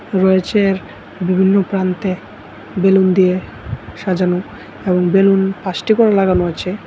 রয়েছে বিভিন্ন প্রান্তে বেলুন দিয়ে সাজানো এবং বেলুন পাঁচটি করে লাগানো আছে।